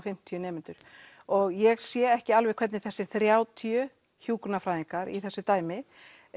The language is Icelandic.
fimmtíu nemendur og ég sé ekki alveg hvernig þessir þrjátíu hjúkrunarfræðingar í þessu dæmi